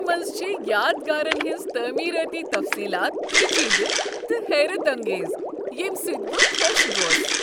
ہمپی منٛز چھ یادگارن ہنٛز تٲمیرٲتی تفصیلات پیچیدٕ تہٕ حیرت انگیز، ییٚمہ سۭتۍ بہٕ خوش گوس ۔